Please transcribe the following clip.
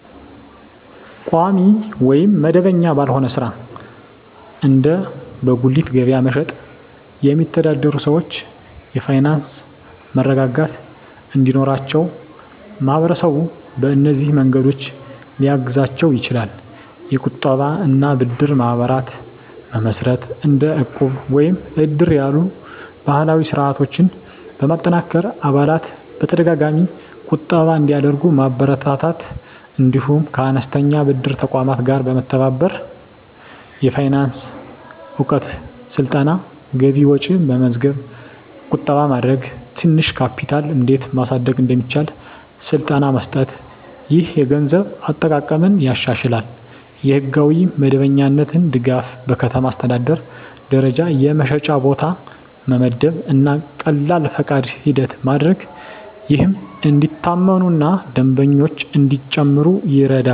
ቋሚ ወይም መደበኛ ባልሆነ ሥራ (እንደ በጉሊት ገበያ መሸጥ) የሚተዳደሩ ሰዎች የፋይናንስ መረጋጋት እንዲኖራቸው ማህበረሰቡ በእነዚህ መንገዶች ሊያግዛቸው ይችላል፦ የቁጠባ እና ብድር ማህበራት መመስረት – እንደ ዕቁብ ወይም እድር ያሉ ባህላዊ ስርዓቶችን በማጠናከር አባላት በተደጋጋሚ ቁጠባ እንዲያደርጉ ማበረታታት። እንዲሁም ከአነስተኛ ብድር ተቋማት ጋር መተባበር። የፋይናንስ እውቀት ስልጠና – ገቢና ወጪ መመዝገብ፣ ቁጠባ ማድረግ፣ ትንሽ ካፒታል እንዴት ማሳደግ እንደሚቻል ስልጠና መስጠት። ይህ የገንዘብ አጠቃቀምን ያሻሽላል። የሕጋዊ መደበኛነት ድጋፍ – በከተማ አስተዳደር ደረጃ የመሸጫ ቦታ መመደብ እና ቀላል ፈቃድ ሂደት ማድረግ፣ ይህም እንዲታመኑ እና ደንበኞች እንዲጨምሩ ይረዳል።